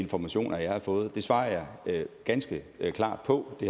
informationer jeg har fået det svarer jeg ganske klart på det